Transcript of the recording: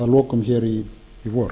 lokum hér í vor